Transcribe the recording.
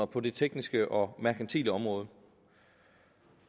på det tekniske og merkantile område